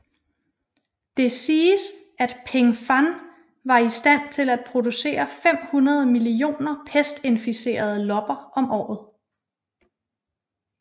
Det siges at Pingfan var i stand til at producere 500 millioner pestinficerede lopper om året